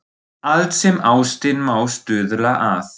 Allt sem ástin má stuðla að.